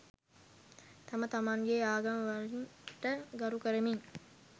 තම තමන්ගේ ආගම් වලට ගරු කරමින්